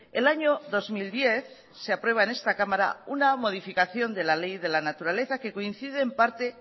el año dos mil diez se aprueba en esta cámara una modificación de la ley de la naturaleza que coincide en parte